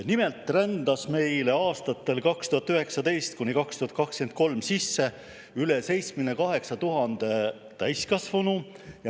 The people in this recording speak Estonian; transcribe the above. Nimelt rändas meile aastatel 2019–2023 sisse üle 78 000 täiskasvanu.